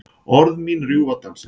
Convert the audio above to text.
Orð mín rjúfa dansinn.